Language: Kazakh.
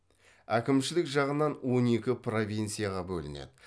әкімшілік жағынан он екі провинцияға бөлінеді